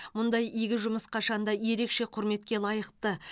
мұндай игі жұмыс қашанда ерекше құрметке лайықты